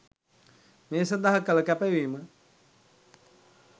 මේ සඳහා කළ කැපවීම